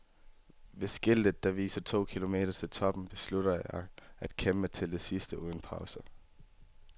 Ved skiltet, der viser to km til toppen, beslutter jeg at kæmpe til det sidste uden pauser.